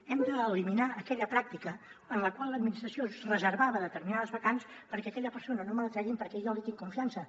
hem d’eliminar aquella pràctica en la qual l’administració es reservava determinades vacants perquè aquella persona no me la treguin perquè jo li tinc confiança